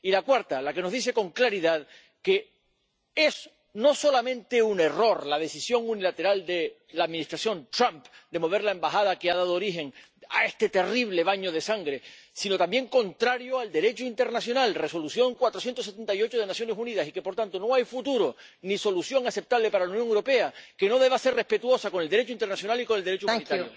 y la cuarta, la que nos dice con claridad que es no solamente un error la decisión unilateral de la Administración Trump de trasladar la embajada que ha dado origen a este terrible baño de sangre, sino que también es contraria al Derecho internacional —Resolución 478 de las Naciones Unidas— y que, por tanto, no hay futuro ni solución aceptable para la Unión Europea que no deba ser respetuosa con el Derecho internacional y con el Derecho humanitario.